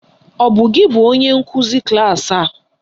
Ọ bụ gị bụ onye nkụzi klaasị a?